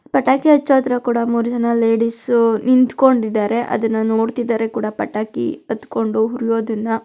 ಪಟಾಕಿ ಹಾಚೋದರ ಕೂಡ ಮೂರೂ ಜನ ಲೇಡೀಸ್ ನಿಂತ್ಕೊಂಡಿದರೆ ಅದನ್ನ ನೋಡ್ತಿದಾರೆ ಕೂಡ ಪಟಾಕಿ ಅತ್ತಿಕೊಂಡು ಹುರಿಯೋದನ್ನ --